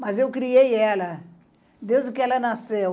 Mas eu criei ela desde que ela nasceu.